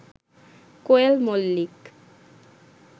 Koel Mallick